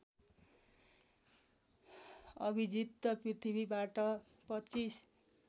अभिजित पृथ्वीबाट २५